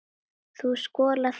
Þú skolar þau síðar.